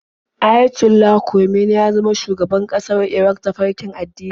Ayatollah Khomeini ya zama shugaban ƙasar Iran ta farkin addini.